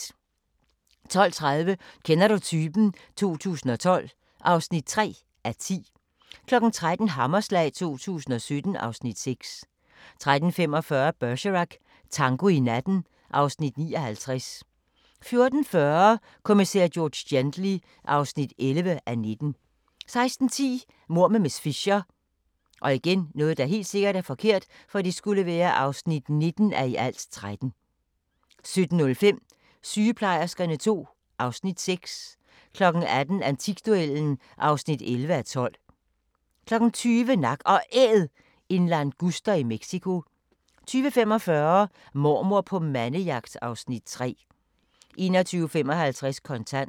12:30: Kender du typen? 2012 (3:10) 13:00: Hammerslag 2017 (Afs. 6) 13:45: Bergerac: Tango i natten (Afs. 59) 14:40: Kommissær George Gently (11:19) 16:10: Mord med miss Fisher (19:13) 17:05: Sygeplejerskerne II (Afs. 6) 18:00: Antikduellen (11:12) 20:00: Nak & Æd – en languster i Mexico 20:45: Mormor på mandejagt (Afs. 3) 21:55: Kontant